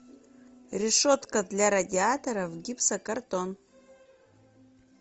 решетка для радиаторов гипсокартон